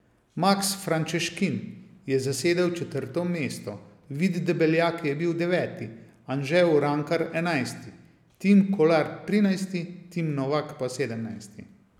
Maks Frančeškin je zasedel četrto mesto, Vid Debeljak je bil deveti, Anže Urankar enajsti, Tim Kolar trinajsti, Tim Novak pa sedemnajsti.